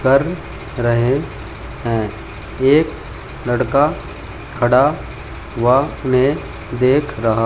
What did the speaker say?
कर रहे हैं एक लड़का खड़ा हुआ उन्हे देख रहा--